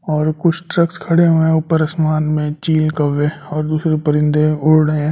और कुछ ट्रक्स खड़े हुए हैं ऊपर असमान में चील कौवे और दूसरे परिंदे उड़ रहे हैं लोगो।